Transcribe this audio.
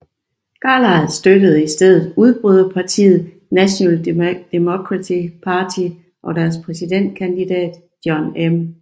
Carlisle støttede i stedet udbryderpartiet National Democratic Party og deres præsidentkandidat John M